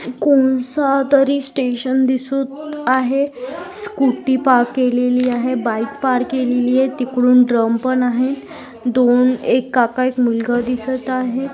कोणसा तरी स्टेशन दिसत आहे स्कूटी पार्क केलेली आहे बाइक पार्क केलेली आहे तिकडून ड्रम पण आहे दोन एक काका एक मुलगा दिसत आहे.